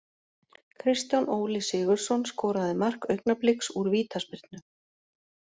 Kristján Óli Sigurðsson skoraði mark Augnabliks úr vítaspyrnu.